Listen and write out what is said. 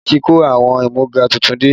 Adé ti kó àwọn amúga tuntun dé